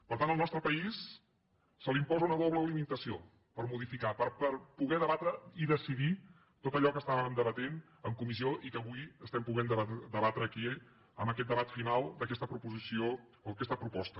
per tant al nostre país se li imposa una doble limitació per modificar per poder debatre i decidir tot allò que debatíem en comissió i que avui podem debatre aquí en aquest debat final d’aquesta proposició o aquesta proposta